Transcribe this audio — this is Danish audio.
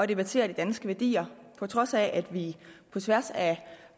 debattere de danske værdier på trods af at vi på tværs af